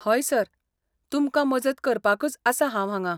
हय सर, तुमकां मजत करपाकच आसा हांव हांगां.